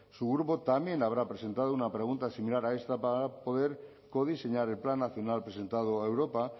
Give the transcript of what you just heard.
su grupo también habrá presentado una pregunta similar para poder codiseñar el plan nacional presentado a europa